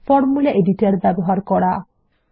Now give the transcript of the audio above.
formula editor বা সূত্র সম্পাদক ব্যবহার করা